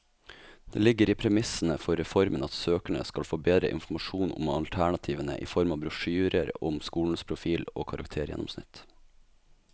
Det ligger i premissene for reformen at søkerne skal få bedre informasjon om alternativene i form av brosjyrer om skolens profil og karaktergjennomsnitt.